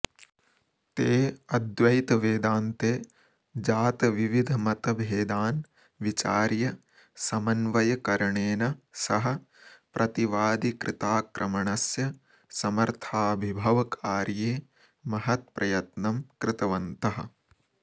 ते अद्वैतवेदान्ते जातविविधमतभेदान् विचार्य समन्वयकरणेन सह प्रतिवादिकृताक्रमणस्य समर्थाभिभवकार्ये महत्प्रयत्नं कृतवन्तः